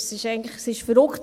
Es ist eigentlich verrückt.